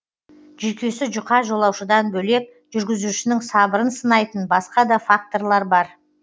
жүйкесі жұқа жолаушыдан бөлек жүргізушінің сабырын сынайтын басқа да факторлар бар